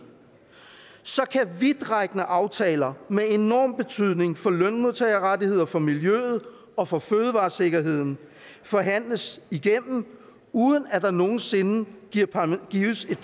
så kan vidtrækkende aftaler med enorm tydning for lønmodtagerrettigheder for miljø og for fødevaresikkerhed forhandles igennem uden at der nogen sinde gives et